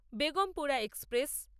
Begampura express